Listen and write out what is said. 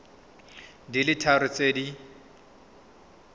di le tharo tse di